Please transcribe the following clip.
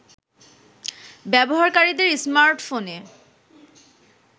ব্যবহারকারীদের স্মার্টফোনে